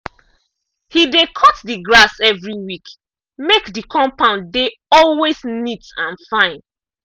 he dey cut the grass every week make the compound dey always neat and fine.